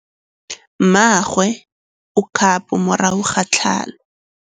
Mmagwe o kgapô morago ga tlhalô.